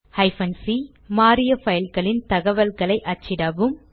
c160 மாறிய பைல்களின் தகவல்களை அச்சிடவும்